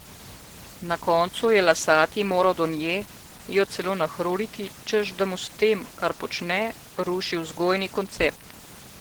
Na koncu je Lasati moral do nje, jo celo nahruliti, češ da mu s tem, kar počne, ruši vzgojni koncept.